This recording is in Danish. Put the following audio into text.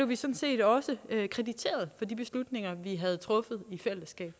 vi sådan set også krediteret for de beslutninger vi havde truffet i fællesskab